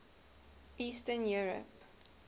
eastern europe